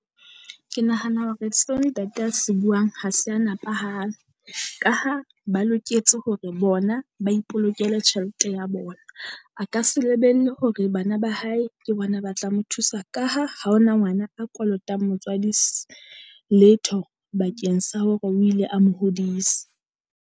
Ke nahana hore se ntate a se buang ha se a nepahala. Ka ha ba loketse hore bona ba ipolokele tjhelete ya bona, a ka se lebelle hore bana ba hae ke bona ba tla mo thusa. Ka ha ha ho na ngwana a kolotang motswadi letho bakeng sa hore o ile a mo hodisa.